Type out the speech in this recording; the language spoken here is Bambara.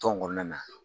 Tɔn kɔnɔna na